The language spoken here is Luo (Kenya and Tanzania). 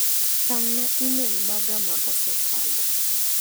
Tang' na imel maga ma osekalo